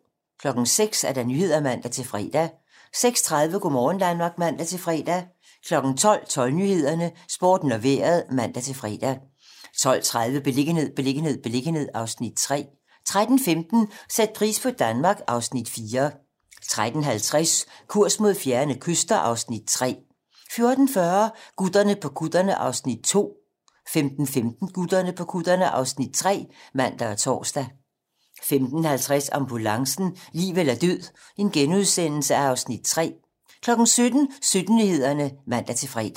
06:00: Nyhederne (man-fre) 06:30: Go' morgen Danmark (man-fre) 12:00: 12 Nyhederne, Sporten og Vejret (man-fre) 12:30: Beliggenhed, beliggenhed, beliggenhed (Afs. 3) 13:15: Sæt pris på Danmark (Afs. 4) 13:50: Kurs mod fjerne kyster (Afs. 3) 14:40: Gutterne på kutterne (Afs. 2) 15:15: Gutterne på kutterne (Afs. 3)(man og tor) 15:50: Ambulancen - liv eller død (Afs. 3)* 17:00: 17 Nyhederne (man-fre)